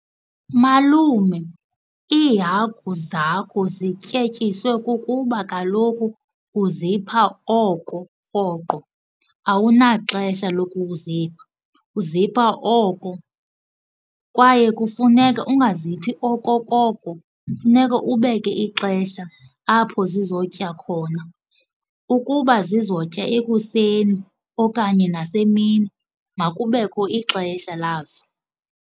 Malume, iihagu zakho zityetyiswe kukuba kaloku uzipha oko rhoqo awunaxesha lokuzipha. Uzipha oko, kwaye kufuneka ungaziphi okokoko. Funeka ubeke ixesha apho zizotya khona ukuba zizotya ekuseni okanye nasemini makubekho ixesha lazo.